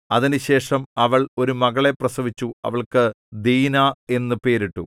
അതിന്‍റെശേഷം അവൾ ഒരു മകളെ പ്രസവിച്ചു അവൾക്കു ദീനാ എന്നു പേരിട്ടു